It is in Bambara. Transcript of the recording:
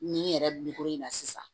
Nin yɛrɛ in na sisan